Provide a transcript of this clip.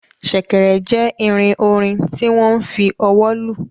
Sèkèrè jê ìrìn orin tí wo n fí ọwọ lù